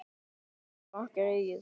Ekkert er okkar eigið.